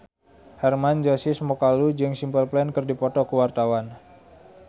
Hermann Josis Mokalu jeung Simple Plan keur dipoto ku wartawan